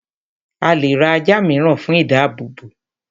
a lè ra ajá ìmíràn fún ìdábòbò